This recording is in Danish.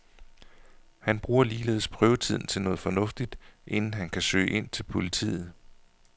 Han bruger ligeledes prøvetiden til noget fornuftigt, inden han kan søge ind til politiet.